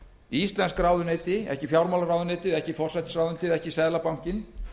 íslensk ráðuneyti ekki fjármálaráðuneytið ekki forsætisráðuneytið ekki seðlabankinn